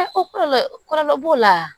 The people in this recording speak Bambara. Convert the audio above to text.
Kɔlɔlɔ kɔlɔlɔ b'o la